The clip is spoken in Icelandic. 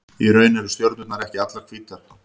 Í raun eru stjörnurnar ekki allar hvítar.